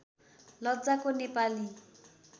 लज्जाको Nepali